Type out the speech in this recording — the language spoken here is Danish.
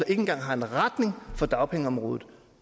engang har en retning for dagpengeområdet